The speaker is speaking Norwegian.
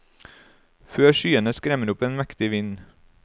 Før skyene skremmer opp en mektig vind.